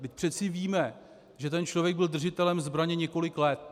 Vždyť přeci víme, že ten člověk byl držitelem zbraně několik let.